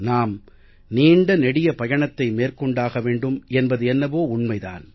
நாம் நீண்ட நெடிய பயணத்தை மேற்கொண்டாக வேண்டும் என்பது என்னவோ உண்மை தான்